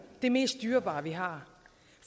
det mest dyrebare vi har